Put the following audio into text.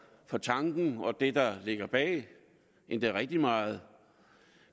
for tanken og det der ligger bag endda rigtig meget